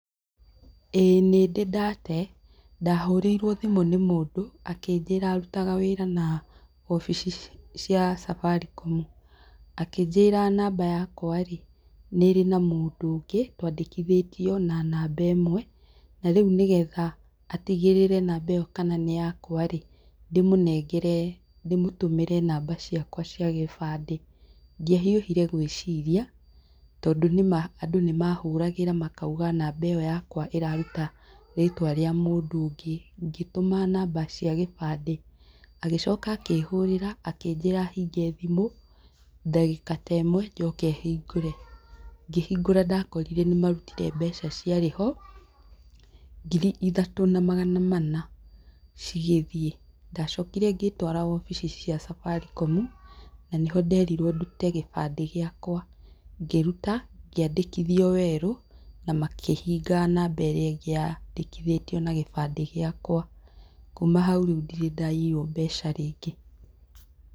Ĩĩ nĩndĩ ndate. Ndahũrĩirwo thimũ nĩ mũndũ, akĩnjĩra arutaga wĩra na wobici cia Safaricom Akĩnjĩra namba yakwa rĩ, nĩrĩ na mũndũ ũngĩ, twandĩkithĩtio na namba ĩmwe, na rĩu nĩ getha atigĩrĩre namba ĩyo kana nĩ yakwa rĩ, ndĩmũnengere ndĩmũtũmĩre namba ciakwa cia gĩbandĩ. Ndiahiũhire gwĩciria, tondũ nĩma andũ nĩ mahuragĩra makauga namba ĩyo yakwa ĩraruta rĩtwa rĩa mũndũ ũngĩ. Ngĩtũma namba cia gĩbandĩ. Agĩcoka akĩhũrĩra akĩnjĩra hinge thimũ, ndagĩka ta ĩmwe njoke hingũre. Ngĩhingũra ndakorire nĩ marutire mbeca ciarĩ ho, ngiri ithatũ na magana mana cigĩthiĩ. Ndacokire ngĩĩtwara obici cia Safaricom, na nĩho nderirwo ndute gĩbandĩ gĩakwa. Ngĩruta, ngĩandĩkithio werũ, na makĩhinga namba ĩrĩa ĩngĩ yandĩkithĩtio na gĩbandĩ gĩakwa. Kuuma hau rĩu ndirĩ ndaiywo mbeca rĩngĩ.